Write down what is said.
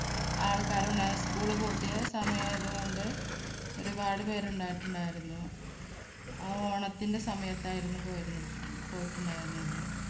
ആൾക്കാരുണ്ട് school പൂട്ടിയ സമയയതുകൊണ്ട് ഒരുപാട് പേരുണ്ടായിട്ടുണ്ടായിരുന്നു ആ ഓണത്തിൻറെ സമയത്തായിരുന്നു പോയിരുന്നു പോയിട്ടുണ്ടായിരുന്നത്